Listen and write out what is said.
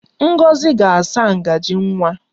Ngozi ga-asa ngaji nwa